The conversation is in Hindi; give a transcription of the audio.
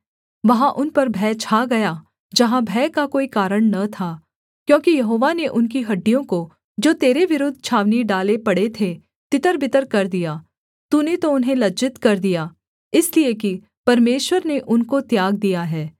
वहाँ उन पर भय छा गया जहाँ भय का कोई कारण न था क्योंकि यहोवा ने उनकी हड्डियों को जो तेरे विरुद्ध छावनी डाले पड़े थे तितरबितर कर दिया तूने तो उन्हें लज्जित कर दिया इसलिए कि परमेश्वर ने उनको त्याग दिया है